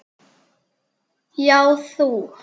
Já, þú!